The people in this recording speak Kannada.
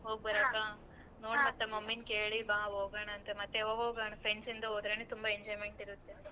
ಹೋಗ್ ಬರಕ ನೋಡ್ ಮತ್ತೆ mummy ನ್ ಕೇಳಿ ಬಾ ಹೋಗೋಣಂತೆ ಮತ್ ಯಾವಾಗ್ ಹೋಗಣ friends ಇಂದ ಹೋದ್ರೆನೆ ತುಂಬಾ enjoyment ಇರತ್ತೆ.